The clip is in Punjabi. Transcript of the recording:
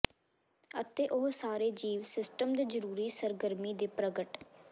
ਅਤੇ ਉਹ ਸਾਰੇ ਜੀਵ ਸਿਸਟਮ ਦੇ ਜ਼ਰੂਰੀ ਸਰਗਰਮੀ ਦੇ ਪ੍ਰਗਟ